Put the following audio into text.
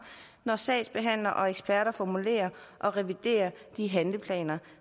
når sagsbehandlere og eksperter formulerer og reviderer de handleplaner